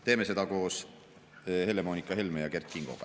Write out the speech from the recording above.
Teeme seda koos Helle-Moonika Helme ja Kert Kingoga.